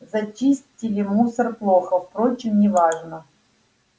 зачистили мусор плохо впрочем не важно